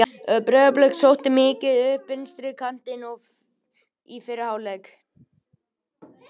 Breiðablik sótti mikið upp vinstri kantinn í fyrri hálfleiknum.